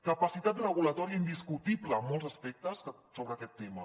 capacitat regulatòria indiscutible en molts aspectes sobre aquest tema